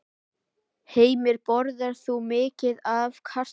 Heimir: Borðar þú mikið af kartöflum?